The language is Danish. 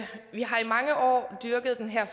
mange år dyrket den her